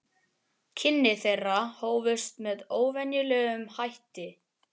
Kynni þeirra hófust með óvenjulegum hætti.